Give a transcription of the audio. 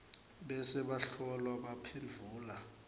bese bahlolwa baphendvula